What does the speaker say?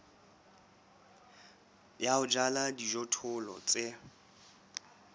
ya ho jala dijothollo tse